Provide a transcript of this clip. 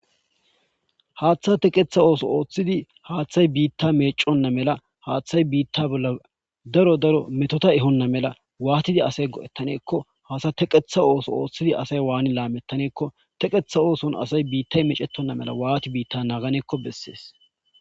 haaththa teqetha ooso ooththidi haaththay biitta meconna mela haaththay biitta bolla daro daro metota ehonna mela waatidi asay go'taneekk o haaththa teqetha ooso ooththidi asay waani laamettaneekko teqetha ooson asay biitta mecetonna mela waati biitta naaganeekko bessees.